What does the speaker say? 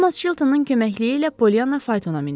Tomas Çiltonun köməkliyi ilə Pollyana faytona mindi.